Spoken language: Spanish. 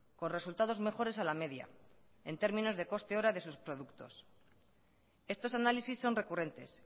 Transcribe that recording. con resultados mejores a la media en términos de coste hora de sus productos estos análisis son recurrentes